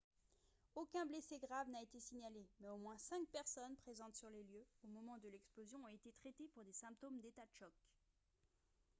aucun blessé grave n'a été signalé mais au moins cinq personnes présentes sur les lieux au moment de l'explosion ont été traitées pour des symptômes d'état de choc